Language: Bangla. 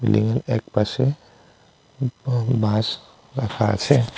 বিল্ডিংয়ের একপাশে ব বাঁশ রাখা আছে।